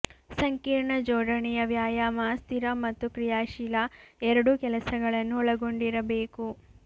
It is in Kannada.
ಸಂಕೀರ್ಣ ಜೋಡಣೆಯ ವ್ಯಾಯಾಮ ಸ್ಥಿರ ಮತ್ತು ಕ್ರಿಯಾಶೀಲ ಎರಡೂ ಕೆಲಸಗಳನ್ನು ಒಳಗೊಂಡಿರಬೇಕು